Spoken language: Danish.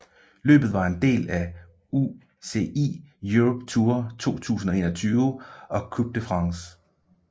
Løbet var en del af UCI Europe Tour 2021 og Coupe de France